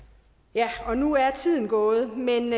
ja og nu er tiden gået men